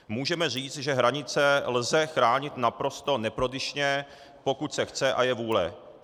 Můžeme říct, že hranice lze chránit naprosto neprodyšně, pokud se chce a je vůle.